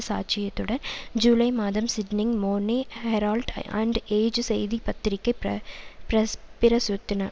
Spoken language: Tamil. சாட்சியத்துடன் ஜூலை மாதம் Sydney Morning Herald and Age செய்திபத்திரிகை பிர பிரஸ் பிரசுத்தன